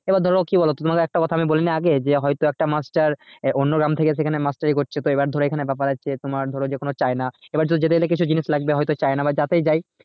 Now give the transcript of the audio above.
এবার ধরো কি বলো তোমাকে একটা কথা আমি বলিনি আগে যে হয়তো একটা মাস্টার আহ অন্য গ্রাম থেকে সেখানে মাস্টারি করছে তো এবার ধরো এখানে ব্যাপার আছে তোমার ধরো যেকোন যাইনা এবার যেতে যেতে কিছু জিনিস লাগবে হয়তো যাইনা বা যাতেই যাই